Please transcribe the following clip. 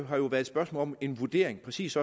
har jo været et spørgsmål om en vurdering præcis